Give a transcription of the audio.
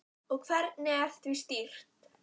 En ferlið sjálft var erfitt?